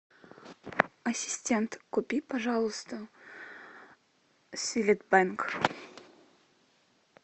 ассистент купи пожалуйста силит бенг